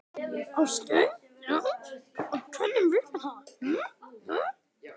Ásgeir: Já, og hvernig virkar þetta?